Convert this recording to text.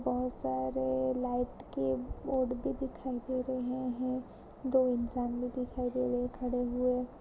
बहुत सारे लाइट के बोर्ड भी दिखाई दे रहे हैं दो इंसान भी दिखाई दे रहे हैं खड़े हुए।